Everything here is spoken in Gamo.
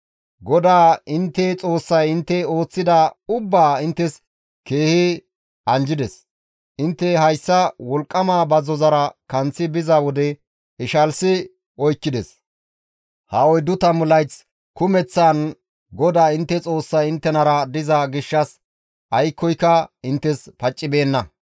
GODAA intte Xoossay intte ooththida ubbaa inttes keehi anjjides; intte hayssa wolqqama bazzozara kanththi biza wode ishalsi oykkides; ha oyddu tammu layth kumeththaan GODAA intte Xoossay inttenara diza gishshas aykkoyka inttes paccibeenna.